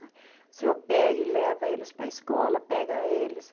O senhor pega e leva eles para a escola, pega eles.